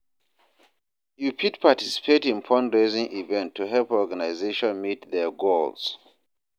Yu fit participate in fundraising events to help organizations meet their goals.